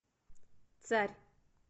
царь